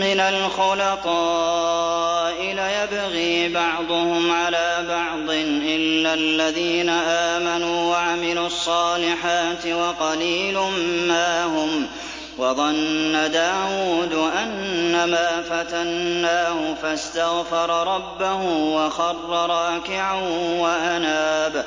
مِّنَ الْخُلَطَاءِ لَيَبْغِي بَعْضُهُمْ عَلَىٰ بَعْضٍ إِلَّا الَّذِينَ آمَنُوا وَعَمِلُوا الصَّالِحَاتِ وَقَلِيلٌ مَّا هُمْ ۗ وَظَنَّ دَاوُودُ أَنَّمَا فَتَنَّاهُ فَاسْتَغْفَرَ رَبَّهُ وَخَرَّ رَاكِعًا وَأَنَابَ ۩